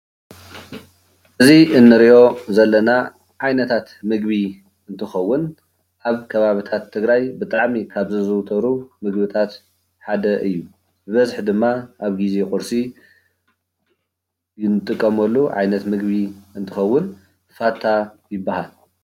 እዚ እንሪኦ ዘለና ዓይነታት ምግቢ እንትከውን ኣብ ከባቢታት ትግራይ ብጣዕሚ ካብ ዝዝውተሩ ምግብታት ሓደ እዩ፡፡ ብበዝሒ ድማ ኣብ ግዜ ቁርሲ እንጥቀመሉ ዓይነት ምግቢ እንትከውን ፋታ ይባሃል፡፡